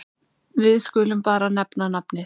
Við skulum bara nefna nafnið.